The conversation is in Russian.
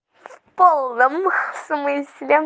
в полном смысле